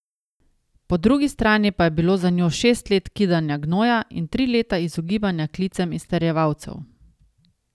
Po drugi strani pa je bilo za njo šest let kidanja gnoja in tri leta izogibanja klicem izterjevalcev.